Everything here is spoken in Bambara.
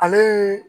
Ale